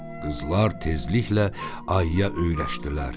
Qızlar tezliklə ayıya öyrəşdilər.